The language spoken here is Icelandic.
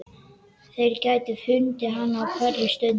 Þeir gætu fundið hana á hverri stundu.